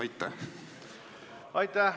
Aitäh!